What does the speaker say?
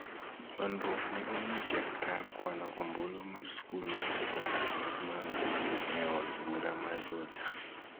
Nywandruok ne omuoch e kar kwano ombulu mar sikul mar Sekondar ma Mangu, e od bura ma Juja